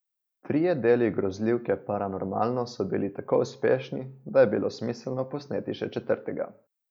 Trije deli grozljivke Paranormalno so bili tako uspešni, da je bilo smiselno posneti še četrtega.